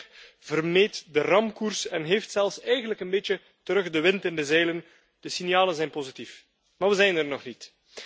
Het schip vermeed de ramkoers en heeft eigenlijk zelfs een beetje terug de wind in de zeilen. De signalen zijn positief, maar we zijn er nog niet.